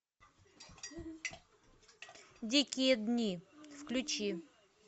дикие дни включи